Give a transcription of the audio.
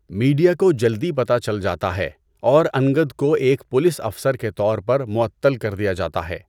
Media کو جلدی پتہ چل جاتا ہے، اور انگد کو ایک پولیس افسر کے طور پر معطل کر دیا جاتا ہے۔